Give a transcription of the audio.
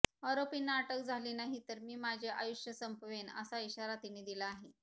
आरोपींना अटक झाली नाही तर मी माझे आयुष्य संपवेन असा इशारा तिने दिला आहे